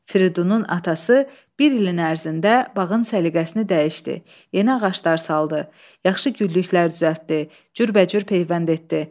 Firidunun atası bir ilin ərzində bağın səliqəsini dəyişdi, yeni ağaclar saldı, yaxşı güllüklər düzəltdi, cürbəcür peyvənd etdi.